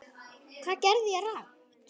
Hvað gerði ég rangt?